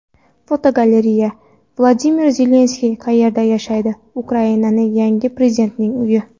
Fotogalereya: Vladimir Zelenskiy qayerda yashaydi Ukraina yangi prezidentining uyi.